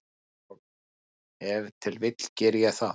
Og ef til vill geri ég það.